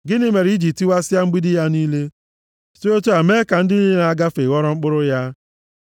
Gịnị mere i ji tiwasịa mgbidi ya niile si otu a mee ka ndị niile na-agafe ghọrọ mkpụrụ ya?